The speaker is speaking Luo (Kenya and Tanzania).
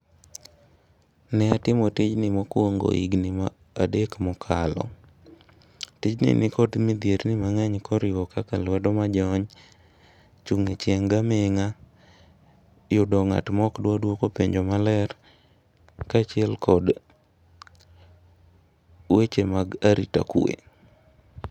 Ne atimo tijni mokuongo higni adek mokalo. Tijni nikod midhierni mang'eny koriwo nyaka kaka lwedojony, chung' e chieng' gi aming'a yudo ng'ato maok dwar duoko penjo kaachiel gi weche mag arita kwe.